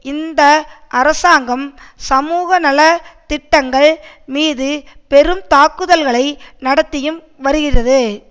இந்த அரசாங்கம் சமூகநல திட்டங்கள் மீது பெரும் தாக்குதல்களை நடத்தியும் வருகிறது